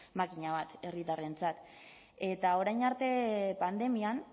makina bat herritarrentzat eta orain arte pandemian